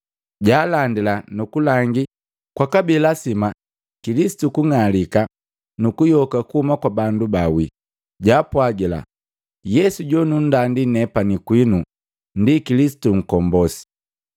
Jaalandila nuku langi kwabi lasima Kilisitu kung'alika nuku yoka kuhuma kwa bandu baawi. Jaapwagila, “Yesu jonundandi nepani kwinu, ndi Kilisitu Nkombosi.”